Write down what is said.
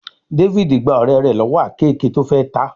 David gbà ọ̀rẹ́ rẹ̀ lọ́wọ́ àkeekèé tó fè tá.